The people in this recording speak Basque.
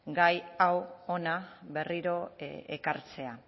gai hau hona berriro ekartzea